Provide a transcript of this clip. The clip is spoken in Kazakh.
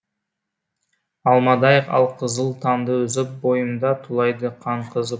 алмадай алқызыл таңды үзіп бойымда тулайды қан қызып